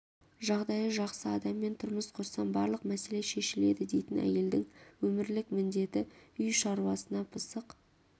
жағдайы жақсы адаммен тұрмыс құрсам барлық мәселе шешіледі дейтін әйелдің өмірлік міндеті үй шаруасына пысық